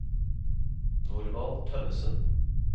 Norvald Tønnesen